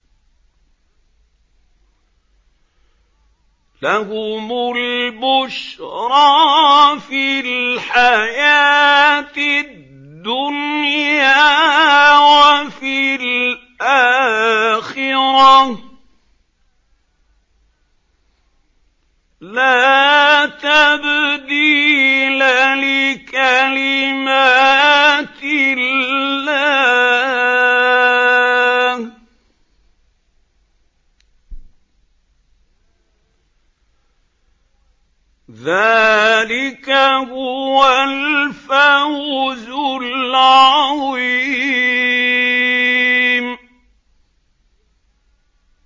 لَهُمُ الْبُشْرَىٰ فِي الْحَيَاةِ الدُّنْيَا وَفِي الْآخِرَةِ ۚ لَا تَبْدِيلَ لِكَلِمَاتِ اللَّهِ ۚ ذَٰلِكَ هُوَ الْفَوْزُ الْعَظِيمُ